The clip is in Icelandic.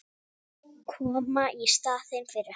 Koma í staðinn fyrir hann.